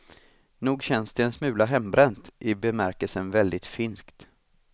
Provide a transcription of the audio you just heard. Nog känns det en smula hembränt, i bemärkelsen väldigt finskt.